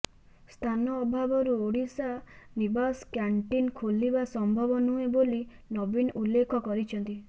ସ୍ଥାନ ଅଭାବରୁ ଓଡିଶା ନିବାସ କ୍ୟାଂଟିନ୍ ଖୋଲିବା ସମ୍ଭବ ନୁହେଁ ବୋଲି ନବୀନ ଉଲ୍ଲେଖ କରିଛନ୍ତି